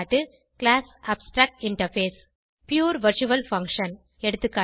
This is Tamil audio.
class abstract interface pure virtual function எகா